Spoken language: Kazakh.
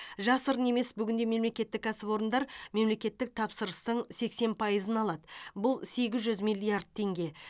жасырын емес бүгінде мемлекеттік кәсіпорындар мемлекеттік тапсырыстың сексен пайызын алады бұл сегіз жүз миллиард теңге